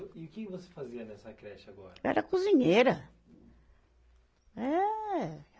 E o que você fazia nessa creche agora? Era cozinheira, eh